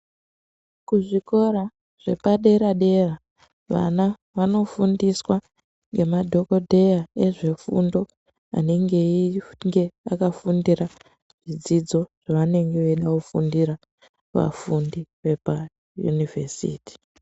Kuzvikora zvepadera-dera vana vanofundiswa nemadhogodheya ezvefundo. Anenge einge akafundira zvidzidzo zvavanenge veinofundira vafundi vepayunivhesiti.